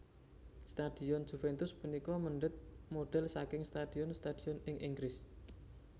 Stadion Juventus punika mèndhèt modhel saking stadion stadion ing Inggris